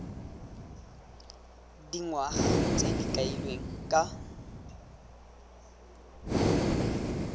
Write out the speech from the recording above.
dingwaga tse di kailweng ka